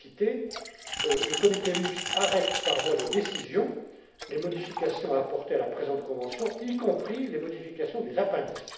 Je cite Le comité mixte arrête, par voie de décision, les modifications à apporter à la présente convention, y compris les modifications des appendices.